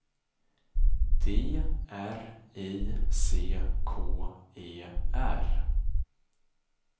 D R I C K E R